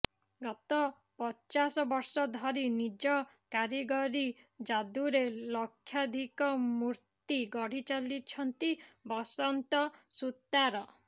ଗତ ପଚାଶ ବର୍ଷ ଧରି ନିଜ କାରିଗରୀ ଯାଦୁରେ ଲକ୍ଷାଧିକ ମୂର୍ତ୍ତି ଗଢ଼ିଚାଲିଛନ୍ତି ବସନ୍ତ ସୂତାର